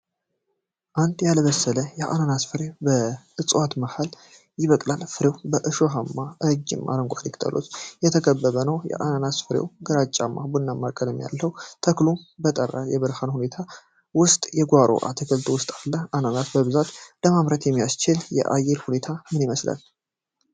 አንድ ያልበሰለ አናናስ ፍሬ በእጽዋቱ መሃል ይበቅላል። ፍሬው በእሾሃማ እና ረጅም አረንጓዴ ቅጠሎች የተከበበ ነው። አናናስ ፍሬው ግራጫማ ቡናማ ቀለም አለው። ተክሉ በጠራራ የብርሃን ሁኔታዎች ውስጥ በጓሮ አትክልት ውስጥ አለ። አናናስ በብዛት ለማምረት የሚያስችል የአየር ሁኔታ ምን ይመስላል?